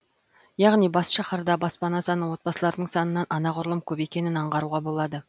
яғни бас шаһарда баспана саны отбасылардың санынан анағұрлым көп екенін аңғаруға болады